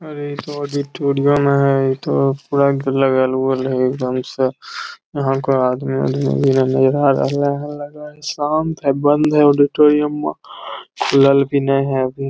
अरे इ तो ऑडिटोरियम है इ तो लगल-उगल है एकदम से यहाँ के आदमी लगाह है शांत है बंद है ऑडिटोरियम खुलल भी ने है अभी --